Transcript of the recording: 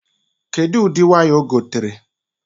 Kedu ụdị waya o gotere?